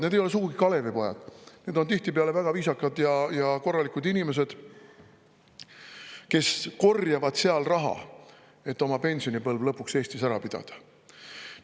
Need ei ole sugugi Kalevipojad, need on tihtipeale väga viisakad ja korralikud inimesed, kes korjavad seal raha, et oma pensionipõlv lõpuks Eestis ära pidada.